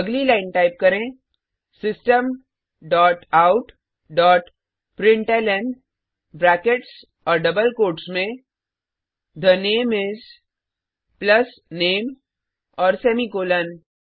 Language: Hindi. अगली लाइन टाइप करें system dot out dot println brackets और डबल कोट्स में the name is plus name और सेमीकॉलन